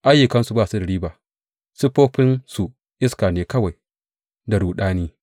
Ayyukansu ba su da riba; siffofinsu iska ne kawai da ruɗami.